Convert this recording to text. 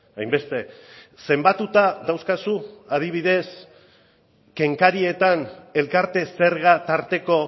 hainbeste zenbatuta dauzkazu adibidez kenkarietan elkarte zerga tarteko